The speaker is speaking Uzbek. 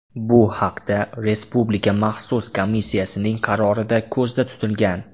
Bu haqda Respublika maxsus komissiyasining qarorida ko‘zda tutilgan .